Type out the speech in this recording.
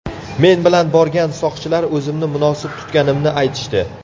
Men bilan borgan soqchilar o‘zimni munosib tutganimni aytishdi.